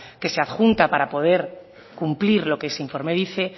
que se adjunte para poder cumplir lo que ese informe dice